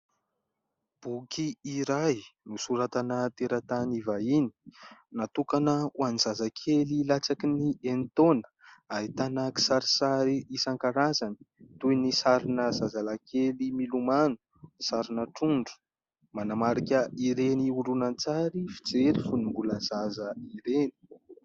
Boky iray nosoratana teratany vahiny, natokana ho an'ny zazakely latsaky ny enintaona ary ahitana kisarisary isankarazany toy ny sarina zazalakely milomano, sarina trondro manamarika ireny horonantsary fijery fony mbola zaza ireny.